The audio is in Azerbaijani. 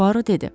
Puaro dedi.